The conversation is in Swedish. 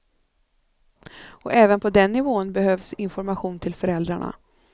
Och även på den nivån behövs information till föräldrarna.